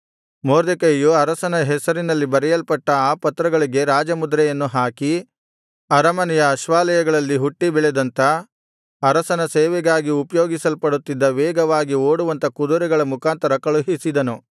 ಮೊರ್ದೆಕೈಯು ಅರಸನ ಹೆಸರಿನಲ್ಲಿ ಬರೆಯಲ್ಪಟ್ಟ ಆ ಪತ್ರಗಳಿಗೆ ರಾಜಮುದ್ರೆಯನ್ನು ಹಾಕಿ ಅರಮನೆಯ ಅಶ್ವಾಲಯಗಳಲ್ಲಿ ಹುಟ್ಟಿ ಬೆಳೆದಂಥ ಅರಸನ ಸೇವೆಗಾಗಿ ಉಪಯೋಗಿಸಲ್ಪಡುತ್ತಿದ್ದ ವೇಗವಾಗಿ ಓಡುವಂಥ ಕುದುರೆಗಳ ಮುಖಾಂತರ ಕಳುಹಿಸಿದನು